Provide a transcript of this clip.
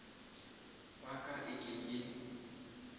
wa ka e ke ke